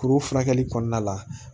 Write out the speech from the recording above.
Kuru furakɛli kɔnɔna la